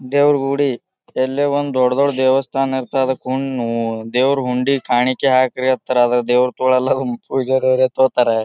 ದೇವ್ರು ಗುಡಿ ಎಲ್ಲೇ ಒಂದು ದೊಡ್ಡ್ ದೊಡ್ಡ್ ದೇವಸ್ಥಾನ ಇರ್ತದೆ. ಅದಕ್ಕೊಂದ್ ದೇವ್ರು ಹುಂಡಿಗೆ ಕಾಣಿಕೆ ಹಾಕಿ ಅಂತಾರೆ. ದೇವ್ರು ತಗೊಳ್ಳಲ್ಲ ಆದ್ರೆ ಪೂಜಾರ್ ಯಾರೋ ತಗೋತಾರೆ.